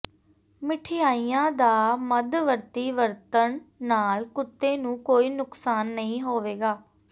ਮਿਠਾਈਆਂ ਦਾ ਮੱਧਵਰਤੀ ਵਰਤਣ ਨਾਲ ਕੁੱਤੇ ਨੂੰ ਕੋਈ ਨੁਕਸਾਨ ਨਹੀਂ ਹੋਵੇਗਾ